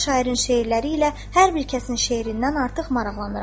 şairin şeirləri ilə hər bir kəsin şeirindən artıq maraqlanıram.